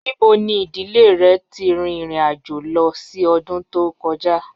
Nibo ni idile rẹ ti rin irin-ajo lọ si ọdun to kọja?